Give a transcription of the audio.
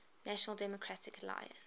national democratic alliance